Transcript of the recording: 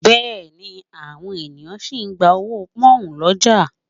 Bẹ́ẹ̀ ni, àwọn ènìyàn sì ń gba owó Pọ́nhùn lọ́jà